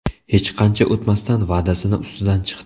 Hech qancha o‘tmasdan va’dasini ustidan chiqdi.